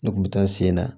Ne kun bɛ taa n sen na